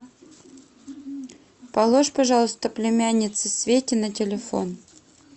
положь пожалуйста племяннице свете на телефон